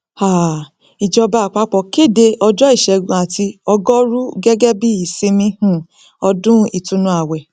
um ìjọba àpapọ kéde ọjọ ìṣègùn àti ọgọrùú gẹgẹ bíi ìsinmi um ọdún ìtùnú ààwẹ